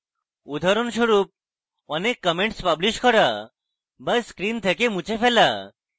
উদাহরণস্বরূপঅনেক comments publish করা বা screen থেকে মুছে ফেলা